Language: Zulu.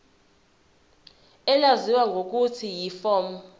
elaziwa ngelokuthi yiform